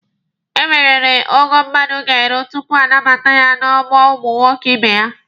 Enweriri ogo mmadụ ga-eru tupu a nabata ya n'ọgbọ ụmụ nwoke ibe ya.